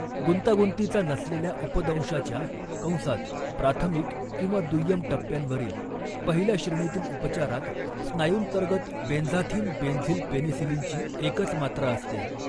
गुंतागुंतीचा नसलेल्या उपदंशाच्या कंसात प्राथमिक किंवा दुय्यम टप्प्यांवरील पहिल्या श्रेणीतील उपचारात, स्नायूंतर्गत बेन्झाथीन बेन्झील पेनिसिलीनची एकच मात्रा असते.